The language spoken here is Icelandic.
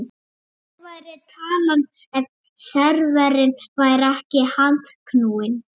Hver væri talan ef serverinn væri ekki handknúinn?